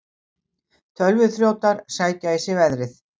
Tölvuþrjótar sækja í sig veðrið